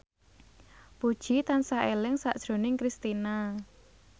Puji tansah eling sakjroning Kristina